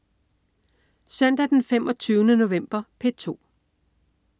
Søndag den 25. november - P2: